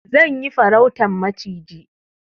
Zan yi farautan maciji.